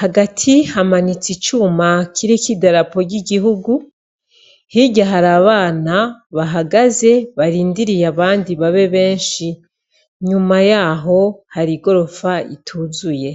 hagati hamanitse icuma kiriko idarapo ry'igihugu, hirya hari abana bahagaze barindiriye abandi babe benshi. Inyuma y'aho hari igorofa ituzuye.